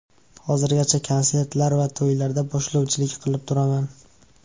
Hozirgacha konsertlar va to‘ylarda boshlovchilik qilib turaman.